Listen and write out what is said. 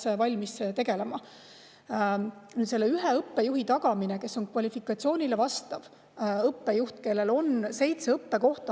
Nüüd ühe õppejuhi, kes vastab kvalifikatsiooni ja kellel oleks siis seitse õppekohta.